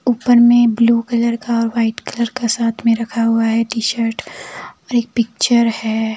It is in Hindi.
ऊपर में ब्लू कलर का व्हाइट कलर का साथ में रखा हुआ है टी शर्ट और एक पिक्चर है।